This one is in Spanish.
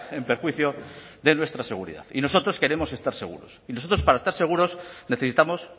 en perjuicio de nuestra seguridad y nosotros queremos estar seguros y nosotros para estar seguros necesitamos